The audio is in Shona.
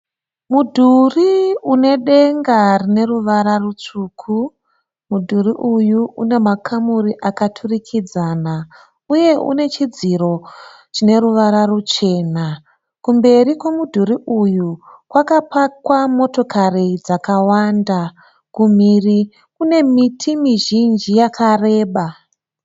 Mudhuri une denga rineruvara rutsvuku. Mudhuri uyu une makamuri akaturikidzana uye une chidziro chine ruvara ruchena. Kumberi kwemudhuri uyu kwakapakwa motokari dzakawanda. Kumhiri kune miti mizhinji yakareba.